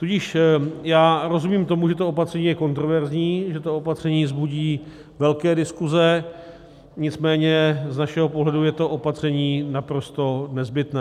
Tudíž já rozumím tomu, že to opatření je kontroverzní, že to opatření vzbudí velké diskuze, nicméně z našeho pohledu je to opatření naprosto nezbytné.